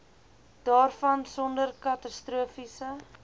daarvan sonder katastrofiese